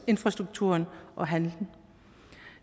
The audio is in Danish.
infrastruktur og handel